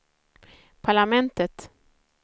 parlamentet